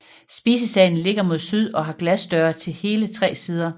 Spisesalen ligger mod syd og har glasdøre til hele tre sider